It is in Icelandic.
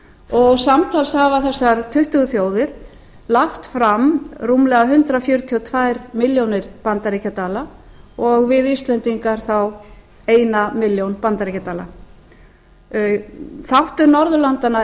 og samtals hafa þessar tuttugu þjóðir lagt fram rúmlega hundrað fjörutíu og tvær milljónir bandaríkjadala og við íslendingar þá eina milljón bandaríkjadala þáttur norðurlandanna